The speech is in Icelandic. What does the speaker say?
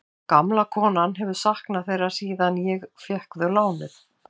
Gamla konan hafi saknað þeirra síðan ég. fékk þau lánuð.